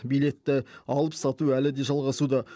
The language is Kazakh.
билетті алып сату әлі де жалғасуда